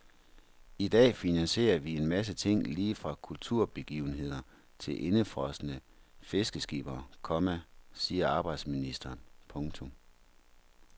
I dag finansierer vi en masse ting lige fra kulturbegivenheder til indefrosne fiskeskippere, komma siger arbejdsministeren. punktum